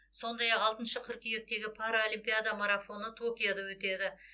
сондай ақ алтыншы қыркүйектегі паралимпиада марафоны токиода өтеді